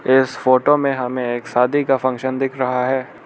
इस फोटो में हमें एक शादी का फंक्शन दिख रहा है।